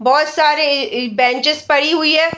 बहुत सारी इ इ बेंचेस पड़ी हुई है।